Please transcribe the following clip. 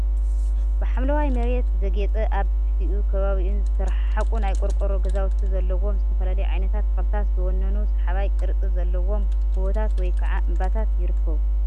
ብሓምለዋይ መሬት ዘጌፀ ኣብ ትሕቲኡን ከባቢኡን ዝተረሓሓቁ ናይ ቆርቆሮ ገዛውቲ ዘለውዎ ዝተፈላለዩ ዓይነት ተኽልታት ዝወነኑ ሰሓባይ ቅርፂ ዘለዎም ጎቦታት ወይ ከዓ እምባታት ይርከቡ፡፡